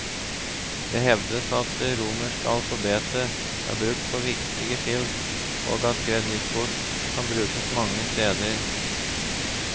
Det hevdes at det romerske alfabet er brukt på viktige skilt og at kredittkort kan brukes mange steder.